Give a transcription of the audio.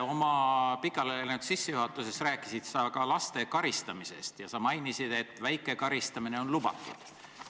Oma pikaleläinud sissejuhatuses rääkisid sa ka laste karistamisest ja mainisid, et väike karistamine on lubatud.